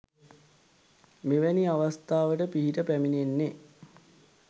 මෙවැනි අවස්ථාවට පිහිට පැමිණෙන්නේ